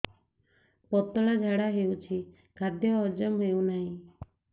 ପତଳା ଝାଡା ହେଉଛି ଖାଦ୍ୟ ହଜମ ହେଉନାହିଁ